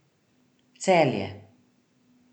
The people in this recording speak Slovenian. Celje.